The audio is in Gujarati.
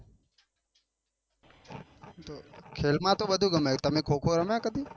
ખેલ માં તો બધું ગમે તમે ખો ખો રમ્યા કદી?